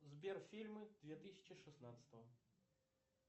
сбер фильмы две тысячи шестнадцатого